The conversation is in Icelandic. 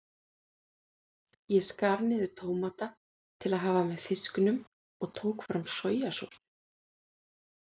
Ég skar niður tómata til að hafa með fisknum og tók fram sojasósu.